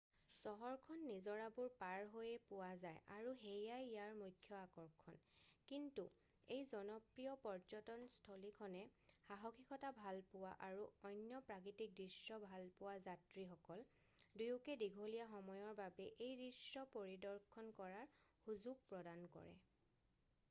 চহৰখন নিজৰাবোৰ পাৰ হৈয়ে পোৱা যায় আৰু সেয়াই ইয়াৰ মুখ্য আকৰ্ষণ কিন্তু এই জনপ্ৰিয় পৰ্যটন স্থলীখনে সাহসীকতা ভালপোৱা আৰু অন্য প্ৰাকৃতিক দৃশ্য ভালপোৱা যাত্ৰীসকল দুয়োকে দীঘলীয়া সময়ৰ বাবে এই দৃশ্য পৰিদৰ্শন কৰাৰ সুযোগ প্ৰদান কৰে